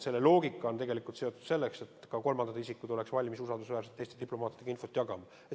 Selle loogika on tegelikult seotud eesmärgiga, et ka kolmandad isikud oleksid valmis usaldusväärselt Eesti diplomaatidega infot jagama.